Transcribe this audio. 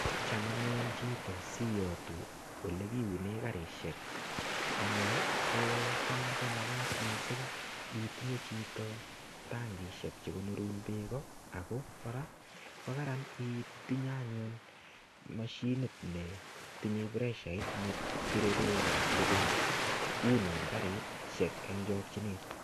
Cham anyun chito siyotu ile kiunen karishek anyun kocham komakat missing itinye chito tankishek chekonorun beek ako koraa ko karan itinye anyun moshinit netinye preshait nepire beek sikounun karishek en chokinet.